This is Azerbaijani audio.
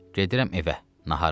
Gedirəm evə nahara.